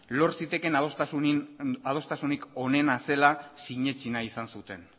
lor zitekeen adostasunik onena zela sinetsi nahi izan zuten